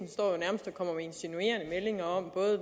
for insinuerende meldinger om